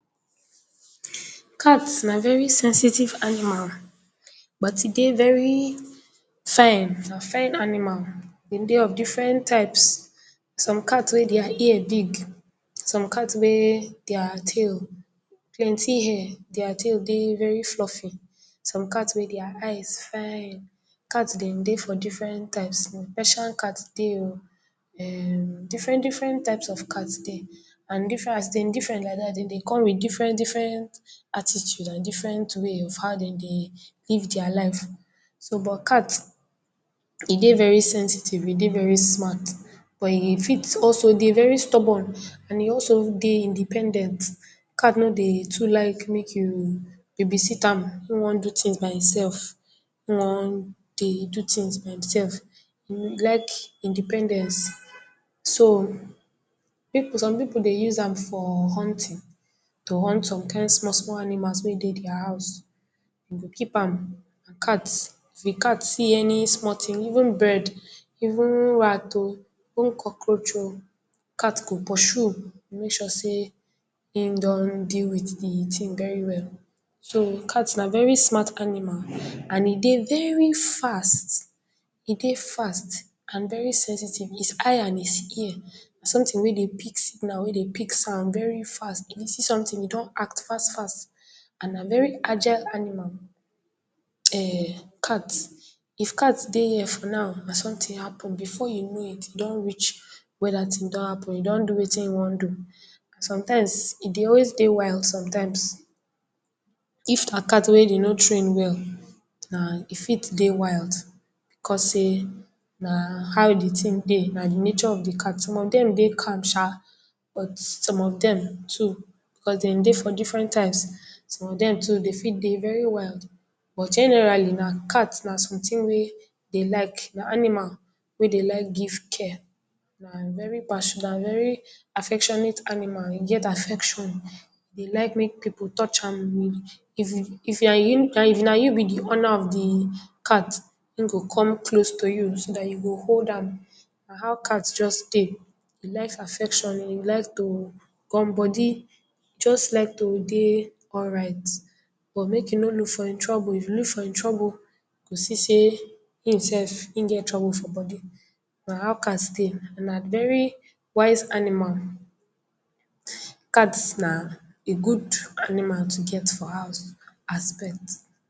Cat na very sensitive animal, but e dey very fine, na fine animal. E dey of differen types, some dey wey dia ear big, some cat wey dia tail, plenty hair, dia tail dey very fluffy, some cat wey dia eyes fine. Cat den dey for differen types, Russian cat dey o, um, differen differen types of cat dey and differen, as dem differen like dat den dey come wit differen differen attitude and different way of how den dey live dia life. So, but cat e dey very sensitive, e dey very smart, but e fit also dey very stubborn, and e also dey independent. Cat no dey too like mek you babysit am, im wan do tins by himself, im wan dey do tins by himself, e like independence. So, pipu, some pipu dey use am for hunting, to hunt some kind small small animals wey dey dia house, e go keep am. Cat, if cat see any small tin, even bird, even rat o, even cockroach o, cat go pursue, go make sure sey im don deal wit di tin very well. So, cat na very smart animal and e dey very fast, e dey fast and very sensitive. His eye and his ear na sometin wey dey pick signal, wey dey pick sound very fast, if e see sometin e don act fast fast and na very agile animal, um cat. If cat dey here for now and sometin happen, before you know it e don reach where dat tin don happen, e don do wetin e wan do. Sometimes e dey always dey wild sometimes, if na cat wey den nor train well, na e fit dey wild because sey, na how di tin dey, na di nature of di cat. Some of dem dey calm sha, but some dem too, cos dem dey for differen types, some of dem too dem fit dey very wild. But generally, na cat na sometin wey dey like, na animal wey dey like give care and very passion, na very affectionate animal, e get affection. E dey like mek pipu touch am, if e, if na you, na, if na you be di owner of di cat, im go come close to you so dat you go hold am, na how cat just dey, e like affection, e like to gum body, just like to dey alright, but mek you no look for im trouble, if you look for im trouble you go see sey e himself e get trouble for body. Na how cat dey, na very wise animal. Cats na a good animal to get for house as pet.